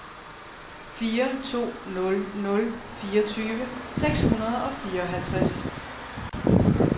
fire to nul nul fireogtyve seks hundrede og fireoghalvtreds